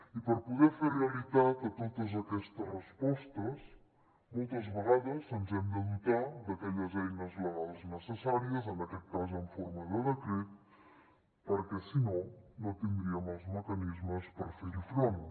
i per poder fer realitat totes aquestes respostes moltes vegades ens hem de dotar d’aquelles eines legals necessàries en aquest cas en forma de decret perquè si no no tindríem els mecanismes per fer hi front